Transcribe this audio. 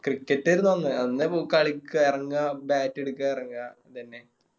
Cricket ആരുന്നു അന്ന് കളിക്ക എറങ്ങാ Bat എടുക്ക എറങ്ങാ ഇതെന്നെ